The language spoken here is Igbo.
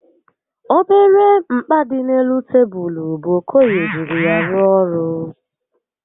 Obere mkpa dị n'elu tebulu bụ Okoye jiri ya rụọ ọrụ